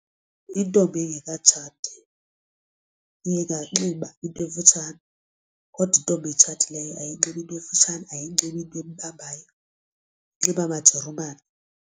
Intombi engekatshati inganxiba into emfutshane kodwa intombi etshatileyo ayinxibi into emfutshane ayinxibi into embambayo inxiba amajerumani.